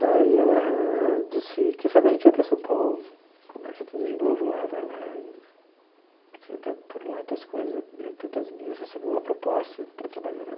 Daí ela disse, quem sabe a gente vai para São Paulo, começa tudo de novo lá, vai lá e tenta por lá as tuas coisas, eu tento as minhas, recebi uma proposta para trabalhar.